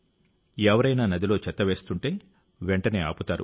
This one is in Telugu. ఎవరైనా నదిలో చెత్త వేస్తుంటే వెంటనే ఆపుతారు